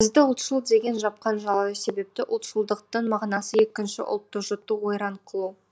бізді ұлтшыл деген жапқан жала себепті ұлтшылдықтың мағынасы екінші ұлтты жұту ойран қылу